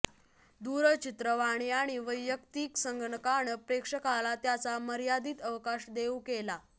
दूरचित्रवाणी आणि वैयक्तिक संगणकानं प्रेक्षकाला त्याचा मर्यादित अवकाश देऊ केला